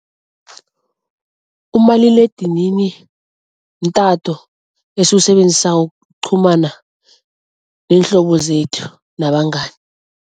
Umaliledinini mtato esiwusebenzisako ukuqhumana neenhlobo zethu nabangani.